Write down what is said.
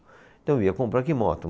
Então, eu ia comprar que moto?